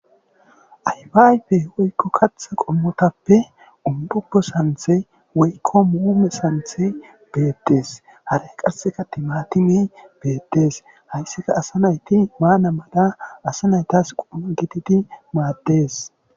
aybaayfe woykko katha qommotappe umbupbo santhe woykko muume santhe beettes hara qasseka timaatimi beettes hayssika asa nayti ba namada asa naytas qomma gitidi maaddees